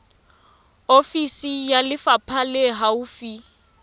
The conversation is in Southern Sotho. ofisi ya lefapha le haufi